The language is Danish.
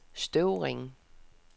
Støvring